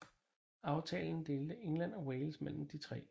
Aftalen delte England og Wales mellem de tre